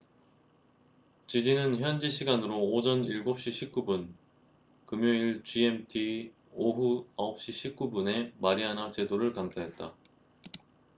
지진은 현지 시간으로 오전 7시 19분 금요일 gmt 오후 9시 19분에 마리아나 제도를 강타했다